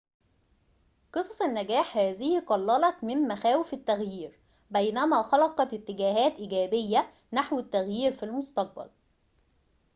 قصص النّجاح هذه قلّلت من مخاوف التّغيير بينما خلقت اتجاهاتٍ إيجابيةٍ نحو التّغيير في المستقبل